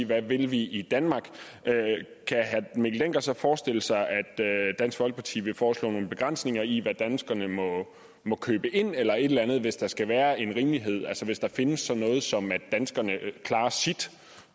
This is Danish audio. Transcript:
hvad vi vil i i danmark kan herre mikkel dencker så forestille sig at dansk folkeparti vil foreslå nogle begrænsninger i hvad danskerne må købe ind eller et eller andet hvis der skal være en rimelighed altså hvis der findes sådan noget som at danskerne klarer sit